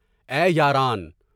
اے! یاران۔